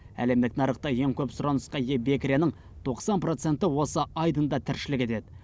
әлемдік нарықта ең көп сұранысқа ие бекіренің тоқсан проценті осы айдында тіршілік етеді